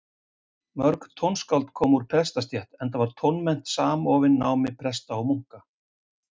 Mörg tónskáld komu úr prestastétt, enda var tónmennt samofin námi presta og munka.